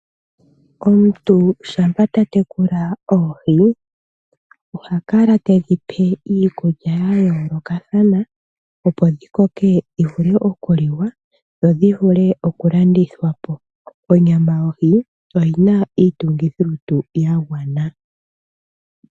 Omuntu shampa ta tekula oohi oha kala tedhi pe iikulya ya yoolokathana, opo dhi koke dhi vule okuliwa dho dhi vule okulandithwa po. Onyama yohi oyi na iitungithilutu ya gwana.